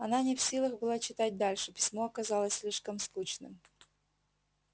она не в силах была читать дальше письмо оказалось слишком скучным